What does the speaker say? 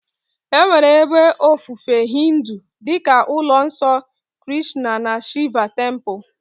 Enwere ebe ofufe Hindu dị ka ụlọ nsọ Krishna na Shiva Temple.